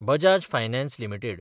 Bajaj finance limited